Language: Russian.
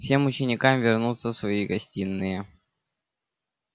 всем ученикам вернуться в свои гостиные